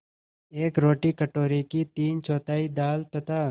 एक रोटी कटोरे की तीनचौथाई दाल तथा